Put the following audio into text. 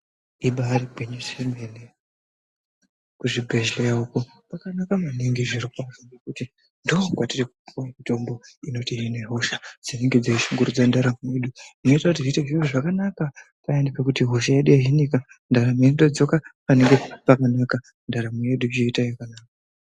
Ibaari gwinyiso yemene kuchibhedhleya uko kwakanaka maningi zvirokwazvo ngekuti ndookwatiri kupuwa mitombo inotihine hosha dzinenge dzeishungurudze ndaramo yedu. Zvinoita kuti zviite zviro zvakanaka payani pekuti hosha yedu yohinika ndaramo yedu yoita yakanaka.